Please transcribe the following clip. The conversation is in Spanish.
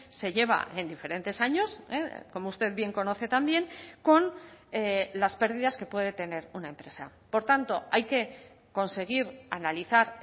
se lleva en diferentes años como usted bien conoce también con las pérdidas que puede tener una empresa por tanto hay que conseguir analizar